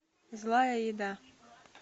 злая еда